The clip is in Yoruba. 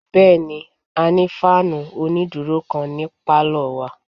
Bẹ́ẹ̀ni, a ní fáànù onídúró kan ní pálọ̀ wa